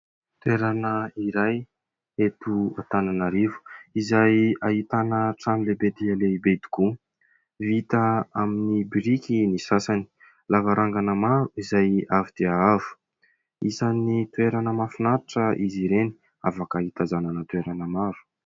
Toerana iray eto Antananarivo izay ahitana trano lehibe dia lehibe tokoa ; vita amin'ny biriky ny sasany. Lavarangana maro izay avo dia avo, isan'ny toerana mahafinaritra izy ireny, afaka hitazanana toerana maro.